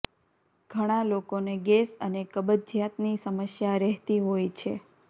ઘણા લોકોને ગેસ અને કબજિયાતની સમસ્યા રહેતી હોય છે